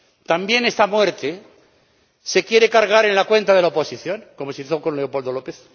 ¿También esta muerte se quiere cargar en la cuenta de la oposición, como se hizo con Leopoldo López?